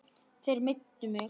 Þeir meiddu þig.